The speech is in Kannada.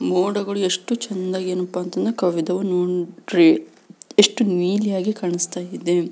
ಮೋಡಗಳು ಎಷ್ಟು ಚೆಂದ ಏನಪಾ ಅಂದ್ರೆ ಕವಿದವು ನೋಡ್ರಿ ಎಷ್ಟು ನೀಲಿಯಾಗಿ ಕಾಣಿಸ್ತಾ ಇದೆ.